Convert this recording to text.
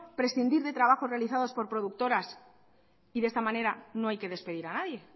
prescindir de trabajos realizados por productoras y de esta manera no hay que despedir a nadie